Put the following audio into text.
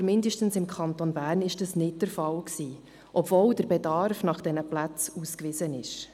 Aber zumindest im Kanton Bern war das nicht der Fall, obwohl der Bedarf nach diesen Plätzen ausgewiesen ist.